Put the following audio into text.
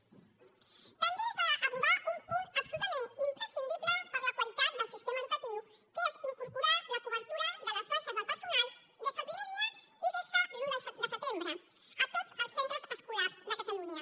també es va aprovar un punt absolutament imprescindible per a la qualitat del sistema educatiu que és incorporar la cobertura de les baixes del personal des del primer dia i des de l’un de setembre a tots els centres escolars de catalunya